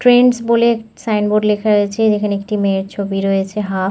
Trends বলে sign board লেখা রয়েছে যেখানে একটি মেয়ে ছবি রয়েছে হাফ ।